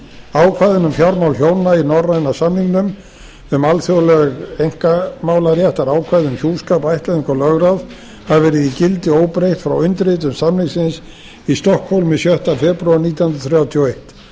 ákvæðin um fjármál hjóna í norræna samningnum um alþjóðleg einkamálaréttarákvæði um hjúskap ættleiðingu og lögráð hafa verið í gildi óbreytt frá undirritun samningsins í stokkhólmi sjötta febrúar nítján hundruð þrjátíu og eitt